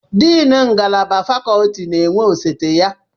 Deni ngalaba fakọlti na-enwe osote ya